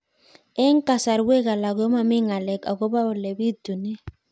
Eng' kasarwek alak ko mami ng'alek akopo ole pitunee